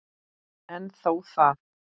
En þó það.